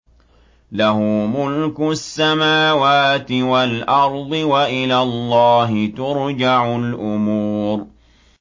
لَّهُ مُلْكُ السَّمَاوَاتِ وَالْأَرْضِ ۚ وَإِلَى اللَّهِ تُرْجَعُ الْأُمُورُ